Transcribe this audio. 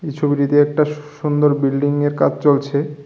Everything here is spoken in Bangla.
এই ছবিটিতে একটা সুন্দর বিল্ডিংয়ের কাজ চলছে।